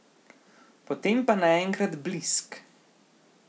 Potem pa naenkrat blisk!